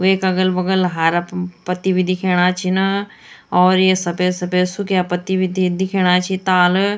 वेक अगल-बगल हारा प पत्ती भी दिखेणा छिन और ये सपेद-सपेद सुक्याँ पत्ती भी दी दिखेणा छि ताल--